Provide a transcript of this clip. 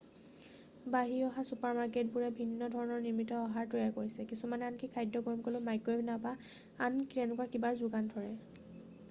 বাঢ়ি থকা চুপাৰ মাৰ্কেটবোৰে ভিন্ন ধৰণৰ নিৰ্মিত আহাৰ তৈয়াৰ কৰিছে কিছুমানে আনকি খাদ্য গৰম কৰিবলৈ মাইক্ৰ'ৱেভ নাইবা আন তেনেকুৱা কিবাৰ যোগান ধৰে